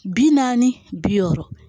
Bi naani bi wɔɔrɔ